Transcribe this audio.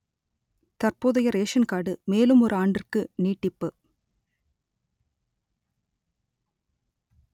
தற்போதைய ration card மேலும் ஒரு ஆண்டிற்கு நீட்டிப்பு